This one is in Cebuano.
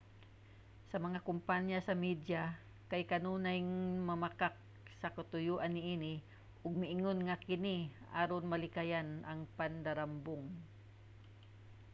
ang mga kompanya sa media kay kanunayng mamakak sa katuyuan niini ug moingon nga kini aron malikayan ang pandarambong